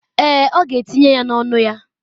Èè, ọ ga-etinye ya n’ọnụ ya.